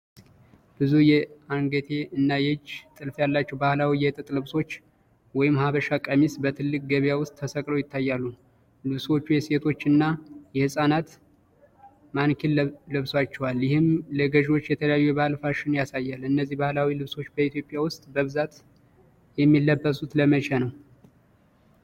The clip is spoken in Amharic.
ብዙ የአንገትጌ እና የእጅ ጥልፍ ያላቸው ባህላዊ የጥጥ ልብሶች (ሀበሻ ቀሚስ) በትልቅ ገበያ ውስጥ ተሰቅለው ይታያሉ። ልብሶቹ የሴቶች እና የህፃናት ማኒኪን ለብሶባቸዋል፣ ይህም ለገዢዎች የተለያዩ የባህል ፋሽን ያሳያል። እነዚህ ባህላዊ ልብሶች በኢትዮጵያ ውስጥ በብዛት የሚለበሱት ለመቼ ነው?